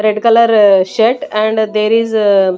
red colour shirt and there is a --